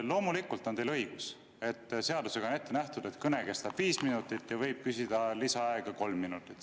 Loomulikult on teil õigus, et seadusega on ette nähtud, et kõne kestab viis minutit ja võib küsida lisaaega kolm minutit.